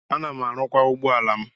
Ana m arụkwa ụgbọala m.